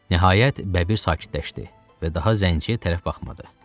Nəhayət, bəbir sakitləşdi və daha zənciyə tərəf baxmadı.